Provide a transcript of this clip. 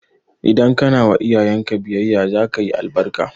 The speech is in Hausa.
Idan kana wa iyayen ka biyayya za ka yi albarka